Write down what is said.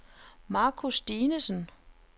Marcus Dinesen